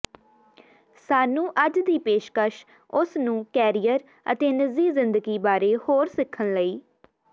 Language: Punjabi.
ਸਾਨੂੰ ਅੱਜ ਦੀ ਪੇਸ਼ਕਸ਼ ਉਸ ਨੂੰ ਕੈਰੀਅਰ ਅਤੇ ਨਿੱਜੀ ਜ਼ਿੰਦਗੀ ਬਾਰੇ ਹੋਰ ਸਿੱਖਣ ਲਈ